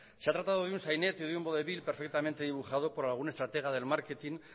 se ha tratado de un sainete perfectamente dibujado por algún estratega del marketing